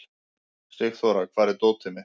Sigþóra, hvar er dótið mitt?